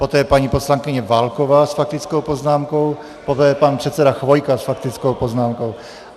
Poté paní poslankyně Válková s faktickou poznámkou, poté pan předseda Chvojka s faktickou poznámkou.